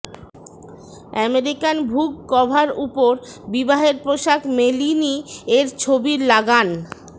American Vogue cover উপর বিবাহের পোশাক মেলিনি এর ছবির লাগান